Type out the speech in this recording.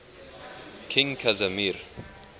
king casimir